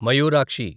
Mayurakshi